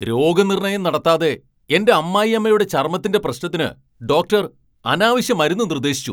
രോഗനിർണയം നടത്താതെ എന്റെ അമ്മായിയമ്മയുടെ ചർമ്മത്തിന്റെ പ്രശ്നത്തിന് ഡോക്ടർ അനാവശ്യ മരുന്ന് നിർദ്ദേശിച്ചു.